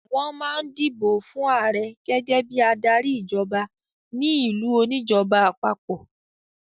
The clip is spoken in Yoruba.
Wọ́n máa ń dìbò fún ààrẹ gẹ́gẹ́ bí adarí ìjọba ní ìlú oníjọba àpapọ̀.